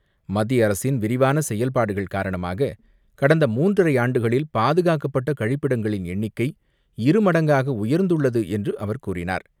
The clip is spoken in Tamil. மத்திய அரசின் விரிவான செயல்பாடுகள் காரணமாக கடந்த மூன்றரை ஆண்டுகளில் பாதுகாக்கப்பட்ட கழிப்பிடங்களின் எண்ணிக்கை இருமடங்காக உயர்ந்துள்ளது என்று அவர் கூறினார்.